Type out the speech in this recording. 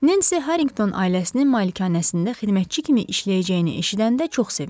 Nensi Harrington ailəsinin malikanəsində xidmətçi kimi işləyəcəyini eşidəndə çox sevindi.